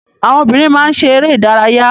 Àwọn obìnrin má ń ṣe eré ìdárayá.